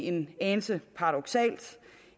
en anelse paradoksalt